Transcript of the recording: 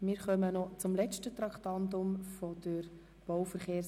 Wir kommen zum letzten Traktandum der BVE.